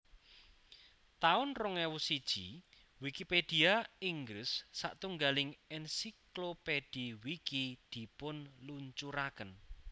taun rong ewu siji Wikipedia Inggris satunggiling ensiklopedhi Wiki dipunluncuraken